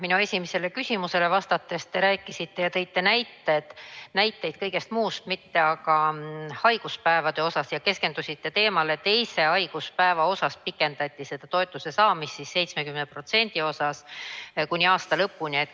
Minu esimesele küsimusele vastates te rääkisite ja tõite näiteid kõige muu, mitte aga haiguspäevade kohta, ja keskendusite teemale, et teisest haiguspäevast 70% ulatuses hüvitamist pikendati kuni aasta lõpuni.